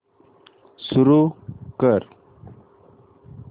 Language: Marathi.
सुरू कर